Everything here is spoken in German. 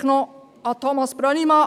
Vielleicht noch an Thomas Brönnimann